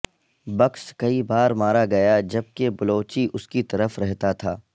books کئی بار مارا گیا جبکہ بلوچی اس کی طرف رہتا تھا